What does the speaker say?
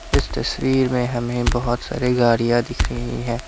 इस तस्वीर में हमें बहोत सारी गाड़ियां दिख रही हैं।